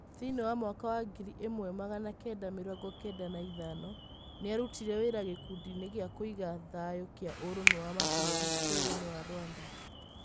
Thĩiniĩ wa mwaka wa ngiri ĩmwe magana Kenda mirongo Kenda na ĩthano, nĩarutire wĩra gĩkundinĩ gĩa kũĩga thayũkĩa ũrũmwe wa mabũrũrĩ bũrũrĩnĩ wa Rwanda.